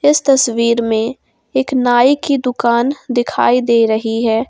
इस तस्वीर में एक नाई की दुकान दिखाई दे रही है।